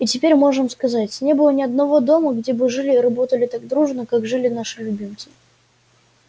и теперь можем сказать не было ни одного дома где бы жили и работали так дружно как жили наши любимцы